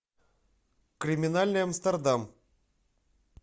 криминальный амстердам